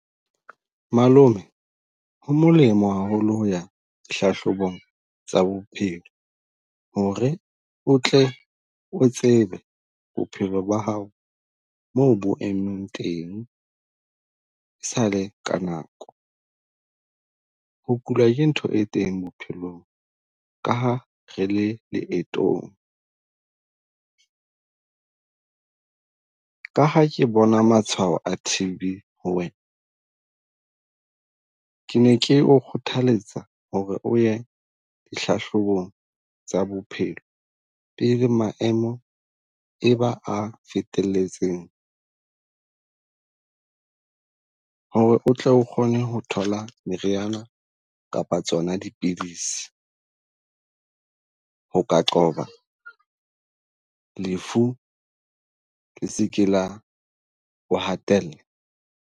Malome ho molemo haholo ho ya dihlahlobong tsa bophelo ho re o tle o tsebe bophelo ba hao moo bo emeng teng e sale ka nako. Ho kula ke ntho e teng bophelong ka ha re le leetong. Ka ha ke bona matshwao a T_B ho wena ke ne ke o kgothaletsa ho re o ye hlahlobong tsa bophelo, pele maemo e ba a fetelletseng. Ho re o tle o kgone ho thola meriana kapa tsona di pidisi, ho ka qoba lefu wo hatella.